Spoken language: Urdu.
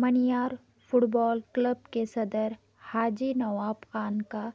مانیار فٹ بال کلب کے صدر حاجی نواب خان کا